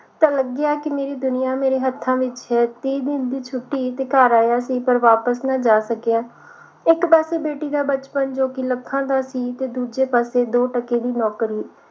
ਤਾਂ ਲੱਗਿਆ ਕਿ ਮੇਰੀ ਦੁਨੀਆਂ ਮੇਰੇ ਹੱਥਾਂ ਵਿਚ ਹੈ ਤੀਹ ਦਿਨ ਦੀ ਛੁੱਟੀ ਤੇ ਘਰ ਆਇਆ ਸੀ ਪਰ ਵਾਪਸ ਨਾ ਜਾ ਸਕਿਆ ਇਕ ਪਾਸੇ ਬੇਟੀ ਦਾ ਬਚਪਨ ਜੋ ਕਿ ਲੱਖਾ ਦਾ ਸੀ ਤੇ ਦੂਜੇ ਪਾਸੇ ਦੋ ਟਕੇ ਦੀ ਨੌਕਰੀ